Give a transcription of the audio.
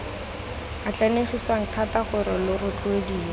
atlanegisiwa thata gore lo rotloediwe